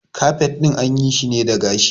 Kafet ɗin an yi shi ne da gashi